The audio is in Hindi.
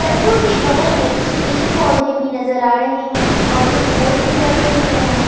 सरको के बगल में कुछ पेड़ पौधे भी नजर आ रहे हैं और कुछ बोर्ड भी लगे हुए हैं।